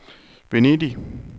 Venedig